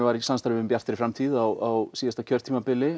var í samstarfi við Bjarta framtíð á síðasta kjörtímabili